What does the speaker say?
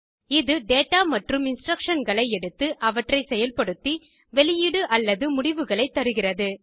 இது டேடா மற்றும் இன்ஸ்ட்ரக்ஷன்களை எடுத்து அவற்றை செயல்படுத்தி வெளியீடு அல்லது முடிவுகளைத் தருகிறது